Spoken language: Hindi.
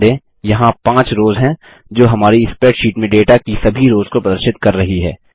ध्यान दें यहाँ 5 रोस हैं जो हमारी स्प्रैडशीट में डेटा की सभी रोस को प्रदर्शित कर रही हैं